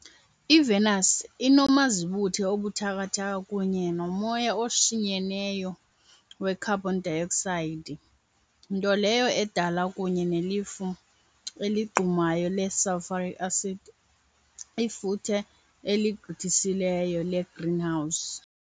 IVenus inomazibuthe obuthathaka kunye nomoya oshinyeneyo wekharbhon dayoksayidi, nto leyo edala, kunye nelifu eligqumayo le-sulfuric acid, ifuthe eligqithisileyo legreenhouse .